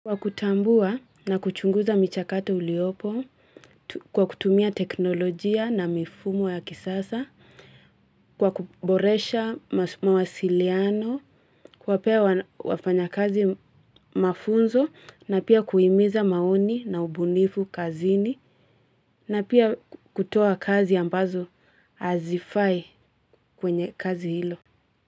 Kwa kutambua na kuchunguza michakato uliopo, kwa kutumia teknolojia na mifumo ya kisasa, kwa kuboresha mawasiliano, kuwapea wafanya kazi mafunzo, na pia kuhimiza maoni na ubunifu kazini, na pia kutoa kazi ambazo hazifai kwenye kazi hilo.